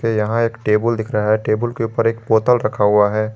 यहां एक टेबुल दिख रहा है टेबुल के ऊपर एक बोतल रखा हुआ है।